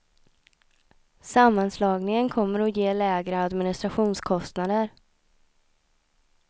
Sammanslagningen kommer att ge lägre administrationskostnader.